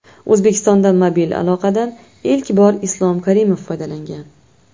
O‘zbekistonda mobil aloqadan ilk bor Islom Karimov foydalangan.